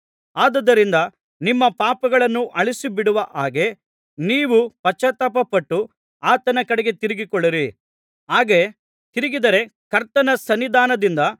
ಆದುದರಿಂದ ನಿಮ್ಮ ಪಾಪಗಳನ್ನು ಅಳಿಸಿಬಿಡುವ ಹಾಗೆ ನೀವು ಪಶ್ಚಾತ್ತಾಪಪಟ್ಟು ಆತನ ಕಡೆಗೆ ತಿರುಗಿಕೊಳ್ಳಿರಿ ಹಾಗೆ ತಿರುಗಿದರೆ ಕರ್ತನ ಸನ್ನಿಧಾನದಿಂದ